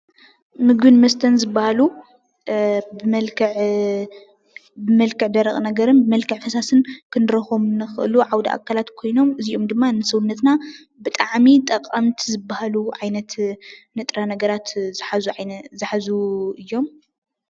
ምግብን መስተን ዝብሃሉ ብመልክዕ ደረቅ ነገርን ብመልክዕ ፈሳስን ክንረክቦም ዝክእሉ ዓውደ ኣካላት ኮይኖም እዚኦም ድማ ንሰውነትና ብጣዕሚ ጠቀምቲ ዝብሃሉ ዓይነት ንጥረ ነገራት ዝሓዙ እዮም፡፡